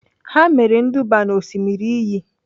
Ha mere nduba n'Osimiri iyi.